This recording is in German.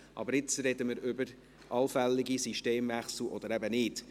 Aber jetzt sprechen wir über allfällige Systemwechsel, oder eben nicht.